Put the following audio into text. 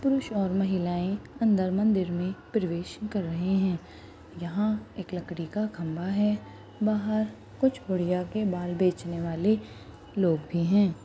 पुरुष और महिलाएं अंदर मंदिर में प्रवेश कर रहे हैं यहाँ एक लकड़ी का खंबा है बाहर कुछ बुढ़िया के बाल बेचने वाले लोग भी हैं।